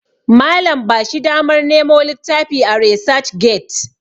Malam ba shi damar Nemo littafi a resac get